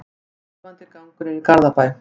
Rífandi gangur er í Garðabæ.